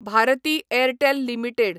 Bharati Airtel limited